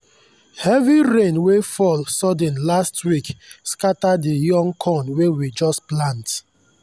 heavy rain wey fall sudden last week scatter the young corn wey we just plant.